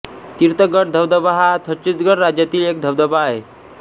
तीर्थगढ धबधबा हा छत्तीसगढ राज्यातील एक धबधबा आहे